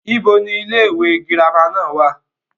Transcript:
ibo ni ilé ìwé girama náà wà?